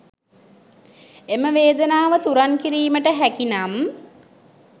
එම වේදනාව තුරන් කිරීමට හැකි නම්